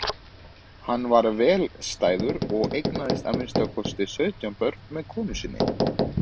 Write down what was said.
Hann var vel stæður og eignaðist að minnsta kosti sautján börn með konu sinni.